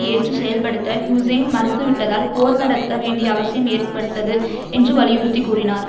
ஏற்றுச் செயல்படுத்த ஹூசேன் மறுத்துவிட்டதால் போர் நடத்த வேண்டிய அவசியம் ஏற்பட்டது என்று வலியுறுத்தி கூறினார்